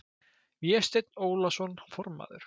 Vésteinn Ólason formaður